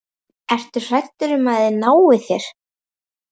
Ertu hræddur um að þeir nái þér?